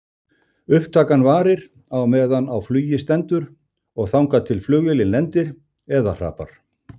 Upptakan varir á meðan á flugi stendur og þangað til flugvélin lendir eða hrapar.